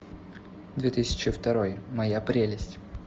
две тысячи второй моя прелесть